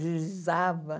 Deslizava.